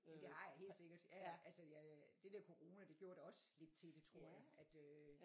Men det har jeg helt sikkert jaja altså jeg øh det der corona det gjorde da også lidt til det tror jeg at øh